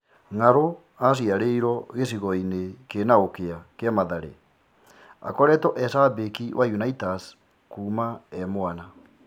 Ng'arũ aciarĩirwo gĩcigo gĩthĩni kĩa, Mathare, akoretwo e-cambĩki wa Unaitas kuuma e-mwana.